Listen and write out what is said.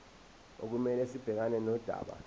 okumele sibhekane nodaba